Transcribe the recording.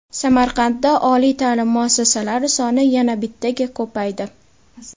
Samarqandda oliy taʼlim muassasalari soni yana bittaga ko‘paydi.